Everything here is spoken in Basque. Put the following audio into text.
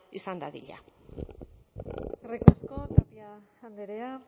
izan dadila eskerrik asko tapia andrea